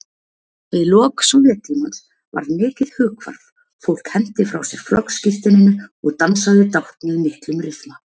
Við lok Sovéttímans varð mikið hughvarf, fólk henti frá sér flokkssírteininu og dansaði dátt með miklum ryþma.